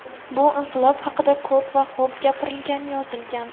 Bu inqilob haqida ko‘p va xo‘b gapirilgan, yozilgan.